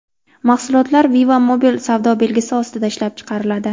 Mahsulotlar Viva Mobil savdo belgisi ostida ishlab chiqariladi.